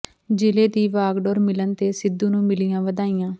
ਜ਼ਿਲ੍ਹੇ ਦੀ ਵਾਗਡੋਰ ਮਿਲਣ ਤੇ ਸਿੱਧੂ ਨੂੰ ਮਿਲੀਆਂ ਵਧਾਈਆਂ